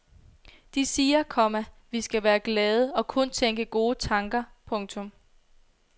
De siger, komma vi skal være glade og kun tænke gode tanker. punktum